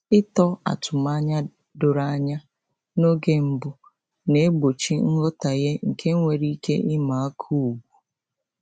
Ịtọ atụmanya doro anya n’oge mbụ na-egbochi nghọtahie nke nwere ike ịma aka ugwu.